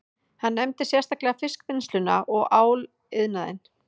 Hann nefndi sérstaklega fiskvinnsluna og áliðnaðinn